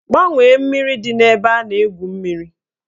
Gbanwee mmiri dị n'ebe a na-egwu mmiri!